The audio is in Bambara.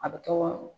A bɛ to